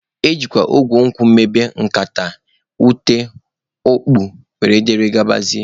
Ejikwa igu nkwụ emebe nkata, ute, okpu wdg